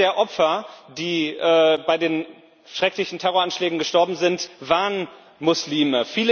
Viele der Opfer, die bei den schrecklichen Terroranschlägen gestorben sind, waren Muslime.